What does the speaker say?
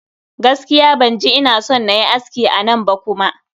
Gaskiya ban ji ina son nayi aski a nan ba kuma.